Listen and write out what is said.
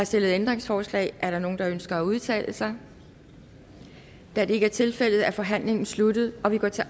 stillet ændringsforslag er der nogen der ønsker at udtale sig da det ikke er tilfældet er forhandlingen sluttet og vi går til